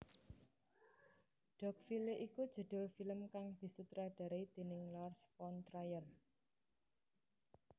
Dogville iku judul film kang disutradarai déning Lars von Trier